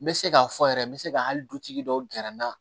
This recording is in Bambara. N bɛ se k'a fɔ yɛrɛ n bɛ se ka hali dutigi dɔw gɛrɛ n na